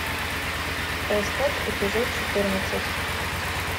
остров эпизод четырнадцать